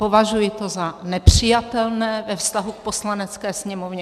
Považuji to za nepřijatelné ve vztahu k Poslanecké sněmovně.